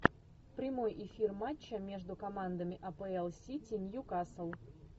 прямой эфир матча между командами апл сити ньюкасл